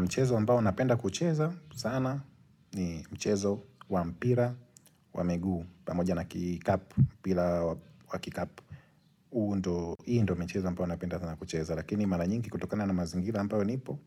Mchezo ambao napenda kucheza sana ni mchezo wa mpira wa miguu. Pamoja na kikapu, pira wa kikapu. Huu ndo, hii ndo michezo ambao napenda sana kucheza. Lakini mara nyingi kutokana na mazingira ambao nipo,